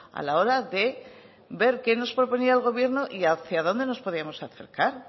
a la hora de ver qué nos proponía el gobierno y hacia donde nos podíamos acercar